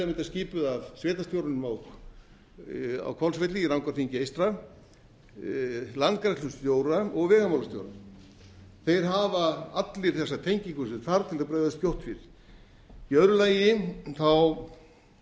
væri til að mynda skipuð að sveitarstjóranum á hvolsvelli í rangárþingi eystra landgræðslustjóra og vegamálastjóra þeir hafa allir þessa tengingu sem þarf til þess að bregðast skjótt við í öðru lagi held ég að